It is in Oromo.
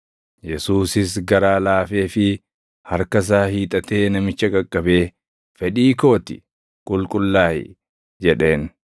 Yesuusis garaa laafeefii, harka isaa hiixatee namicha qaqqabee, “Fedhii koo ti; qulqullaaʼi!” jedheen.